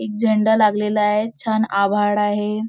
एक झेंडा लागलेला आहे छान आभाळ आहे.